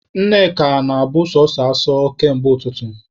Nneka na-abụ sọsọ asọ kamgbe ụtụtụ.